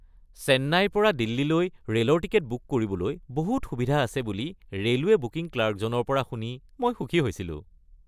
চেন্নাইৰ পৰা দিল্লীলৈ ৰে’লৰ টিকট বুক কৰিবলৈ বহুত সুবিধা আছে বুলি ৰে’লৱে বুকিং ক্লাৰ্কজনৰ পৰা শুনি মই সুখী হৈছিলোঁ।